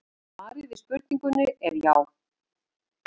Svarið við spurningunni er já.